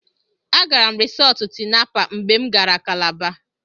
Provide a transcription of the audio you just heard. Agara m Risọọtụ Tinapa mgbe m gara Kalaba.